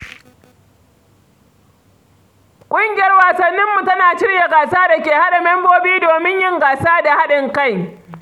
Ƙungiyar wasanninmu tana shirya gasa da ke haɗa membobi domin yin gasa da haɗin kai.